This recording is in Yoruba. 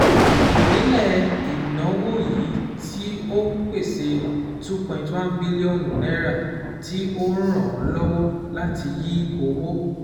Ìpínlẹ̀ ìnáwó yìí tí ó pèsè cs] two point one bílíọ̀nù [ca] naira tí ó ràn án lọ́wọ́ láti yí owó